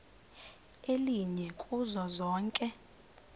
elinye kuzo zonke